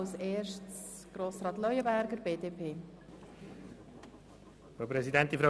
Als Erster spricht Grossrat Leuenberger für die BDP.